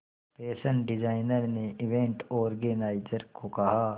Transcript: fashion designer ने event organiser को कहा